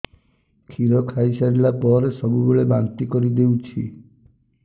କ୍ଷୀର ଖାଇସାରିଲା ପରେ ସବୁବେଳେ ବାନ୍ତି କରିଦେଉଛି